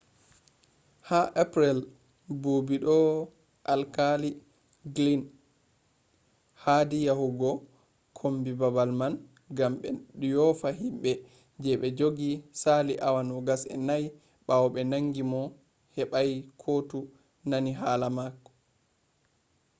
ha april buubi do alkali glynn hadi yahugo kombi babal man gam be yofa himbe je be jogi sali awa 24 bawo be nangi mo hebai koutu nani hala mako